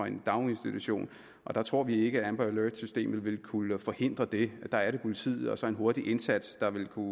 en daginstitution og der tror vi ikke at amber alert systemet vil kunne forhindre det der er det politiet og så en hurtig indsats der vil kunne